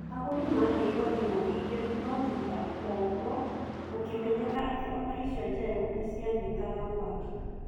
Agũri maheirwo thimũ igĩ nũ thutha woguo gũkimenyeka ati ona icio njerũ nĩcianyitaga mwaki